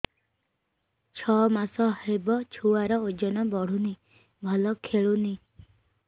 ଛଅ ମାସ ହବ ଛୁଆର ଓଜନ ବଢୁନି ଭଲ ଖେଳୁନି